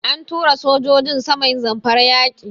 An tura sojojin sama Zamfara yaƙi.